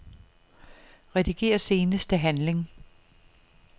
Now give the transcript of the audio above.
Rediger seneste handling.